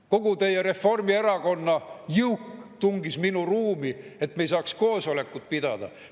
Kogu teie Reformierakonna jõuk tungis minu ruumi, et me ei saaks koosolekut pidada.